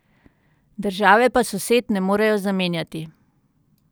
Države pa sosed ne morejo zamenjati.